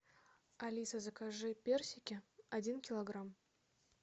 алиса закажи персики один килограмм